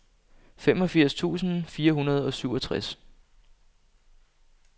femogfirs tusind fire hundrede og syvogtres